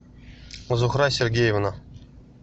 зухра сергеевна